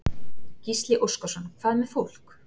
Gísli Óskarsson: Hvað með fólk?